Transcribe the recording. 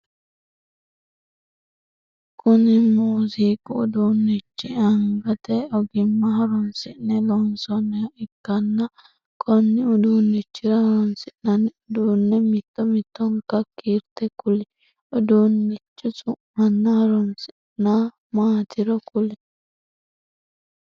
Kunni muuziiqu uduunnichi angate ogimma horoonsi'ne loonsoonniha ikanna konni uduunnichira horoonsi'nanni uduune mitto mittonka kiirte kuli? Uduunnichi su'manna horosi maatiro kuli?